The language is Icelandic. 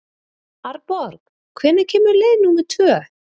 Arnborg, hvenær kemur leið númer tvö?